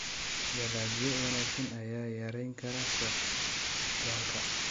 Dalagyo wanaagsan ayaa yarayn kara socdaalka.